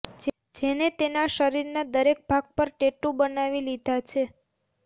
જેને તેના શરીરના દરેક ભાગ પર ટેટુ બનાવી લીધા છે